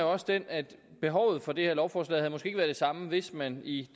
også den at behovet for det her lovforslag måske været det samme hvis man i